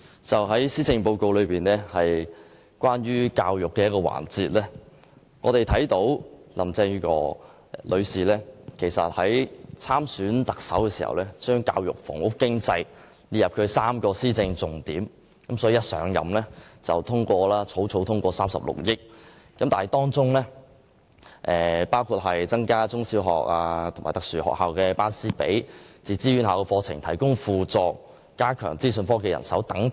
就施政報告有關教育的環節，林鄭月娥女士參選特首時，列出教育、房屋和經濟3個施政重點，她甫上任便迅速通過36億元教育經常開支撥款，包括增加中小學及特殊學校的師生比例、為自資院校課程提供輔助及加強資訊科技人手等。